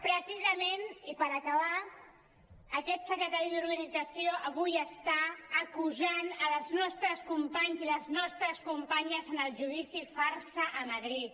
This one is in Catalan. precisament i per acabar aquest secretari d’organització avui està acusant els nostres companys i les nostres companyes en el judici farsa a madrid